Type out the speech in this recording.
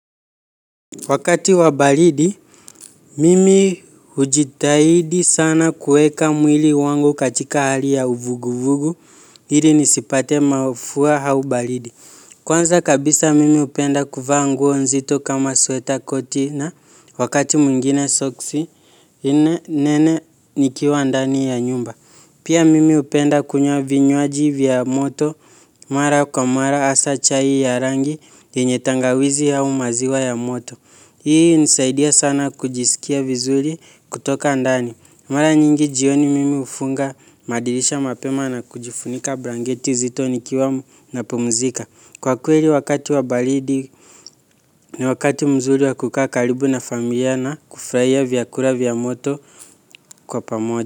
Wakati wa baridi, mimi hujitahidi sana kueka mwili wangu katika hali ya uvuguvugu, ili nisipate mafua au baridi. Kwanza kabisa mimi hupenda kuvaa nguo nzito kama sweta koti na wakati mwingine soksi, nene nikiwa ndani ya nyumba. Pia mimi hupenda kunywa vinywaji vya moto, mara kwa mara hasa chai ya rangi, yenye tangawizi au maziwa ya moto. Hii inisaidia sana kujisikia vizuri kutoka ndani. Mara nyingi jioni mimi hufunga madirisha mapema na kujifunika blanketi zito nikiwa napumzika. Kwa kweli wakati wa baridi ni wakati mzuri wa kukaa karibu na familia na kufurahia vyakula vya moto kwa pamoja.